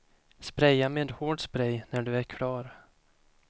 Spraya med hård spray när du är klar.